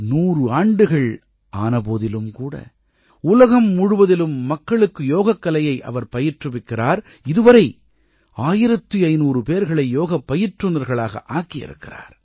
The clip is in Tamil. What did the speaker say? நூறு ஆண்டுகள் ஆன போதிலும் கூட உலகம் முழுவதிலும் மக்களுக்கு யோகக்கலையை அவர் பயிற்றுவிக்கிறார் இதுவரை 1500 பேர்களை யோகப் பயிற்றுநர்களாக ஆக்கியிருக்கிறார்